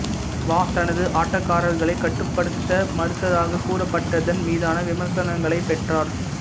வா தனது ஆட்டக்காரர்களை கட்டுப்படுத்த மறுத்ததாகக் கூறப்பட்டதன் மீதான விமர்சனங்களைப் பெற்றார்